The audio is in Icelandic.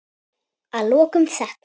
Að lokum þetta.